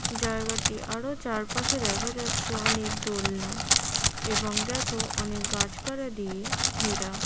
জায়গাটি আরো চারপাশে দেখা যাচ্ছে অনেক দোলনা এবং দেখো অনেক গাছপাড়া দিয়ে ঘেরা ।